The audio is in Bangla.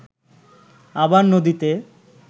আবার নদীতে